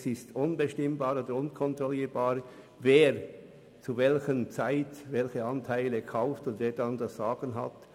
Es ist unbestimmbar und unkontrollierbar, wer zu welcher Zeit welche Anteile kauft und dann das Sagen hat.